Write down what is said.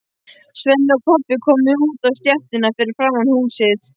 Svenni og Kobbi komu út á stéttina fyrir framan húsið.